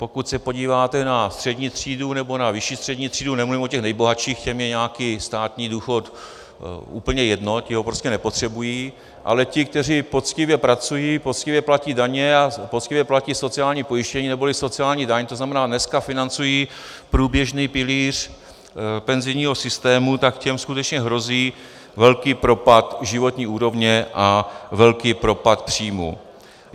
Pokud se podíváte na střední třídu nebo na vyšší střední třídu - nemluvím o těch nejbohatších, těm je nějaký státní důchod úplně jedno, ti ho prostě nepotřebují - ale ti, kteří poctivě pracují, poctivě platí daně a poctivě platí sociální pojištění neboli sociální daň, to znamená, dneska financují průběžný pilíř penzijního systému, tak těm skutečně hrozí velký propad životní úrovně a velký propad příjmů.